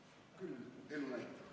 Küll elu näitab.